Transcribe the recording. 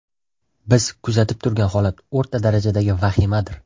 Biz kuzatib turgan holat o‘rta darajadagi vahimadir.